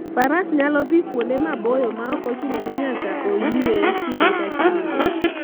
Faras nyalo dhi kuonde maboyo ma ok ochuno ni nyaka oyue kinde ka kinde.